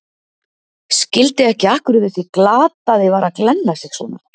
Skildi ekki af hverju þessi glataði var að glenna sig svona.